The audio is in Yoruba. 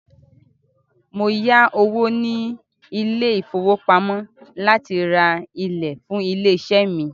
Mó yá owó ní ilé ìfọwọ́pamo láti rá ilẹ̀ fún ilé iṣé mí.